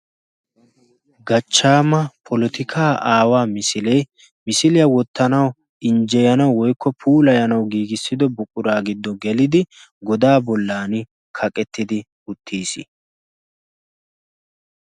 Gachchaama polotikaa aawaa misilee misiliyaa wottanawu injjeyanawu woykko puulayanawu giigissido buquraa giddo gelidi godaa bollan kaqettidi uttiis.